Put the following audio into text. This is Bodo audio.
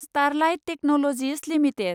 starlight technologies limited